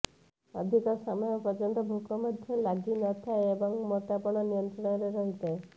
ଅଧିକ ସମୟ ପର୍ଯ୍ୟନ୍ତ ଭୋକ ମଧ୍ୟ ଲାଗିନଥାଏ ଏବଂ ମୋଟାପଣ ନିୟନ୍ତ୍ରଣରେ ରହିଥାଏ